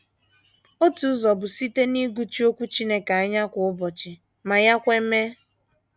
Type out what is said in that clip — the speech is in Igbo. Otu ụzọ bụ site n’ịgụchi Okwu Chineke anya kwa ụbọchị ma ya kwe mee.